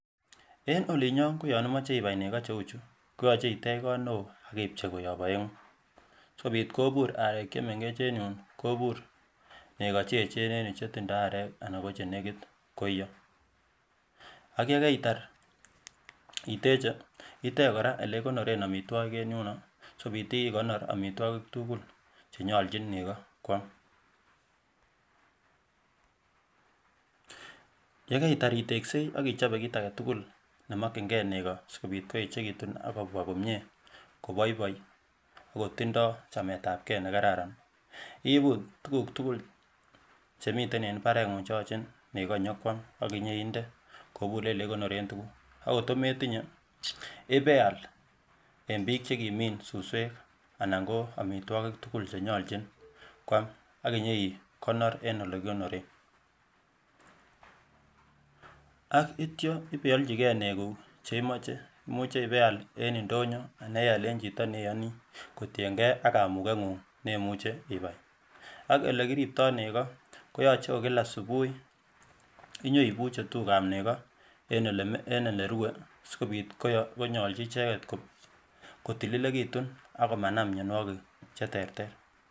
En olinyon koyan imoche ibai nego cheuchu koyoche itech kot newoo akipchei koyop oengu asikobit kobur arek chemengech en yuun kobur nego cheechen en yuu chetindoo areek anan ko chenekit koiyo. Ak yekeitar iteche itech kora olekikonoren omitwogik en yuuno asokobiiit ikonor omitwogik tugul chenyonlchin nego kwam. Yekeitar iteksei ak ichobe kit aketukul nemokyingee nego asikobit koechekitun akobwa komyee koboiboi ak kotindoi chametabkei nekararan iibu tukuk tukul chemiten eng mbarengung cheyoche nego nyokwaam akinyoninde koburen olekikonoren tukuk ak ngot metinye ibeal eng biik chekimin suswek anan ko amitwogik tugul chenyolchin kwaam ak inyoikonor eng olekikonoren ak itya ibeolchikee neguuk cheimoche. Imuchii ibeal en ndonyo anan ial eng chito neiyoni kotiengee kamuket ngung neimuche ibai ak olekiriptoi nego koyoche ko kila subui inyoibuchii tukuk ab nego eng ole rue asikobiit konyolchi icheket kotililekitun ak komanam mionwogik cheterter